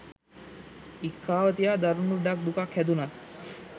ඉක්කාව තියා දරුණු ලෙඩක් දුකක් හැදුනත්